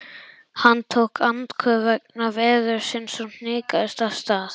Hann tók andköf vegna veðursins og hnikaðist af stað.